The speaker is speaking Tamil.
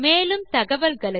மேலும் தகவல்களுக்கு